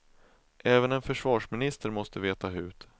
Även en försvarsminister måste veta hut.